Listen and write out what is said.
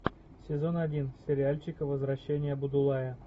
сезон один сериальчик возвращение будулая